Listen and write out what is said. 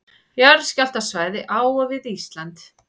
Jarðskjálftasvæði á og við Ísland.